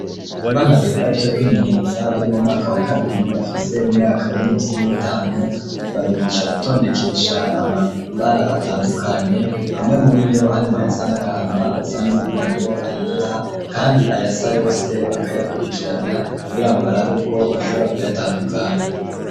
Abana biga ivyo kwimenyereza bari mu mwaka wa kabiri bafise imyaka iri munsi y'itanu babigisha gutondekesha amabara atandukanye hamwe muri yo hari mwo ayasa n'agahama, ayasa n'umuhondo ,ayera kandi ayasa yose bakayakurikiranya kugira ngo barabe ko bashobora kuyatandukanya.